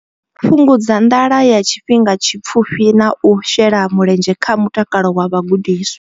Fhungudza nḓala ya tshifhinga tshipfufhi na u shela mulenzhe kha mutakalo wa vhagudiswa.